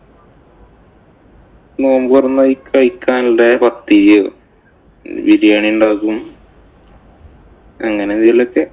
നോമ്പു തുറന്നു കഴിക്കാനുള്ള പത്തിരിയോ, ബിരിയാണി ഉണ്ടാക്കും. അങ്ങനെ എന്തേലുമൊക്കെ.